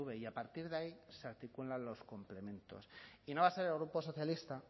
y a partir de ahí se articulan los complementos y no va a ser el grupo socialista